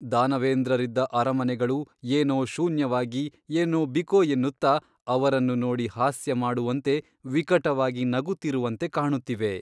ದಾನವೇಂದ್ರರಿದ್ದ ಅರಮನೆಗಳು ಏನೋ ಶೂನ್ಯವಾಗಿ ಏನೋ ಬಿಕೋ ಎನ್ನುತ್ತ ಅವರನ್ನು ನೋಡಿ ಹಾಸ್ಯಮಾಡುವಂತೆ ವಿಕಟವಾಗಿ ನಗುತ್ತಿರುವಂತೆ ಕಾಣುತ್ತಿವೆ.